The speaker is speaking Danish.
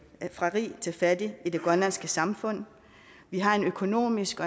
fra rig til fattig i det grønlandske samfund vi har en økonomisk